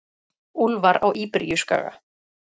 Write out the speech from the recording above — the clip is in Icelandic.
Úlfar á Íberíuskaga.